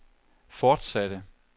fortsatte